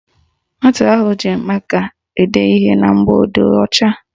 Nwata ahụ ji maka ede ihe na mgbọodee ọcha